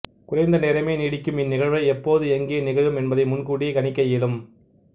குறைந்த நேரமே நீடிக்கும் இந்நிகழ்வை எப்போது எங்கே நிகழும் என்பதை முன்கூட்டியே கணிக்க இயலும்